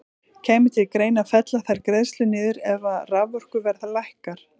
Kæmi til greina að fella þær greiðslur niður ef að raforkuverð lækkar?